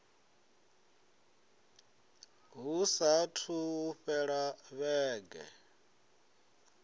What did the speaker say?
hu saathu u fhela vhege